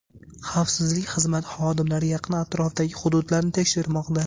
Xavfsizlik xizmati xodimlari yaqin atrofdagi hududlarni tekshirmoqda.